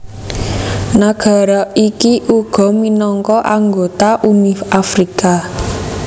Nagara iki uga minangka anggota Uni Afrika